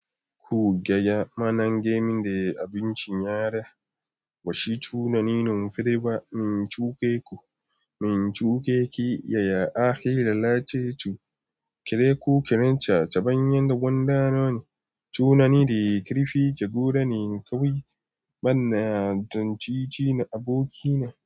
Ku gaya ma nan gamen de abinci yara, bashi tunani numfiri ba, min chu ke ku, min chu ke ki, ya ya ake lalace su, kiru kirin chacha ban yanda gwanda noni, tunani da kirifi ka guda ne kawai, bana jancici na aboki na.